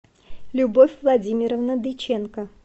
любовь владимировна дыченко